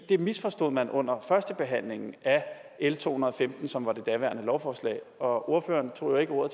det misforstod man under førstebehandlingen af l to hundrede og femten som var det daværende lovforslag og ordføreren tog jo ikke ordet